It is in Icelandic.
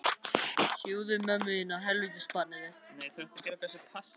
Var tekið hlýlega á móti þessu aðkomna tríói.